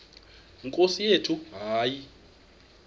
nkosi yethu hayi